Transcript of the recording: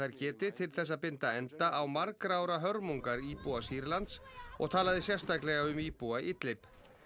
geti til þess að binda enda á margra ára hörmungar íbúa Sýrlands og talaði sérstaklega um íbúa Idlib